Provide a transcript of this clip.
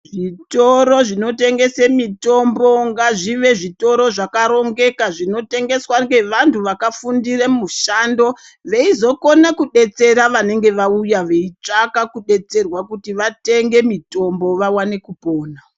Zvitoro zvinotengese mitombo ngazvive zvitoro zvakarongeka zvinotengeswa ngevantu vakafundire mushando veizokone kudetsera vanenge vauya veitsvaka kudetserwa kuti vatsvake mitombo vaone kupona.